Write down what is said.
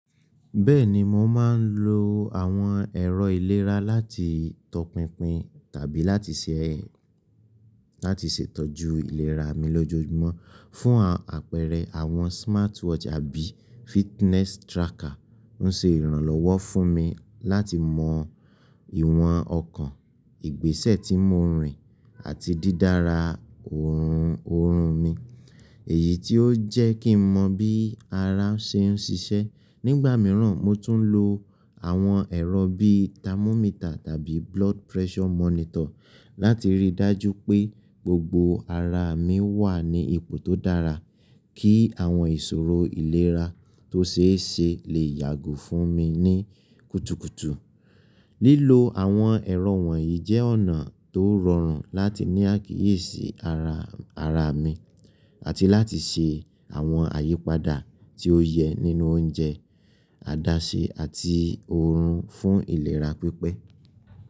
Bẹ́ẹ̀ni, mo máa ń lo àwọn ẹ̀rọ ìlera láti tọpinpin tàbí láti ṣè itọ́jú ìlera mi lójoojúmọ́. Fún àpẹẹrẹ, àwọn smartwatch àbí fitness tracker ń ṣe ìrànlọ́wọ́ fún mi láti mọ ìwọ̀n ọkàn, ìgbésẹ̀ tí mo rìn àti dídára oorun mi, èyí tí ó jẹ́ kí n mọ bí ara ṣe ń ṣiṣẹ́. Nígbà mìíràn, mo tún ń lo àwọn ẹ̀rọ bíi thermometer tàbí blood pressure monitor láti rí i dájú pé gbogbo ara mi wà ní ipò tó dára kí àwọn ìṣòro ìlera tó ṣeé se lè yàgò fún mi ní kùtùkùtù. Lílo àwọn ẹ̀rọ wọ̀nyí jẹ́ ọ̀nà tó rọrùn láti ní àkíyèsí ara mi àti láti ṣe àwọn àyípadà tí ó yẹ nínú oúnjẹ, àdáṣe àti oorun fún ìlera pípẹ́.